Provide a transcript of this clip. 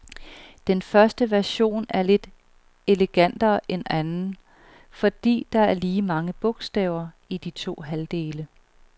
Den første version er lidt elegantere end anden, fordi der er lige mange bogstaver i de to halvdele.